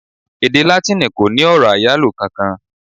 Èdè Látíìnì kò ní ọ̀rọ̀ àyálò kankan.